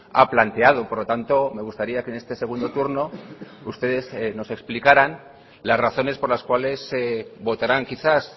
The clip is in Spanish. ha planteado por lo tanto me gustaría que en este segundo turno ustedes nos explicaran las razones por las cuales votarán quizás